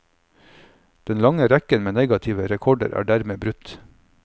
Den lange rekken med negative rekorder er dermed brutt.